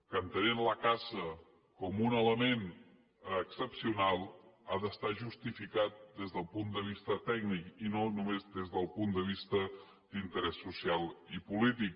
que entenent la caça com un element excepcional ha d’estar justificat des del punt de vista tècnic i no només des del punt de vista d’interès social i polític